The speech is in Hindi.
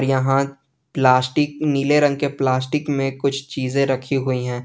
यहां प्लास्टिक नीले रंग के प्लास्टिक में कुछ चीजे रखी हुई हैं।